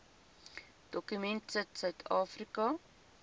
dokument sit suidafrika